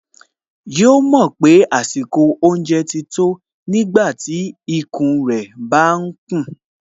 Yóò mọ̀ pé àsìkò oúnjẹ ti tó nígbàtí ikùn rẹ̀ bá kùn